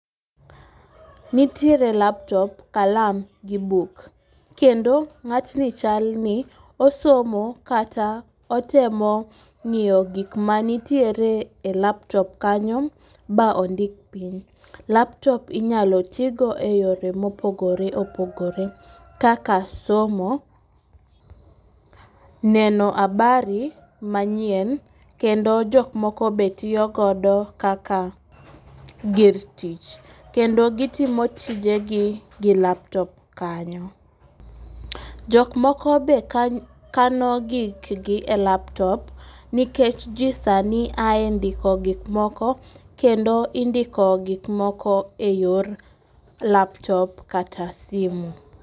Nitiere laptop, kalam kod buk, kendo ng'atni chalni osomo kata otemo ng'iyo gik manitiere e laptop kanyo, ba ondik piny. Laptop inyalo tigo e yore mopogore opogore kaka somo, neno habari manyien, kendo jok moko be tiyo godo kaka gir tich . Kendo gitimo tijegi gi laptop kanyo. Jok moko be kano gik gi e laptop nikech ji sani ae ndiko gik moko, kendo indiko gik moko e yor laptop kata simu.